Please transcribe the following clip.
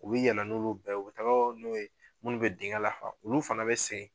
U bi yɛlɛ n'olu bɛɛ ye u taga n'o ye minnu be dingɛn lafa olu fana be segin